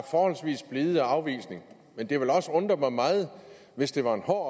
forholdsvis blide afvisning men det ville også undre mig meget hvis det var en hård